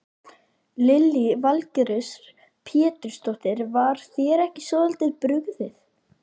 Lillý Valgerður Pétursdóttir: Var þér ekki svolítið brugðið?